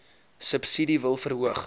subsidie wil verhoog